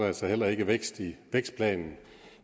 altså heller ikke vækst i vækstplanen